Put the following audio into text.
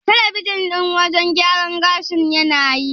Talabijin ɗin wajen gyaran gashin tana yi?